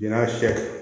N y'a sɔ